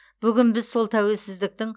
бүгін біз сол тәуелсіздіктің